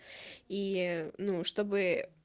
и ну чтобы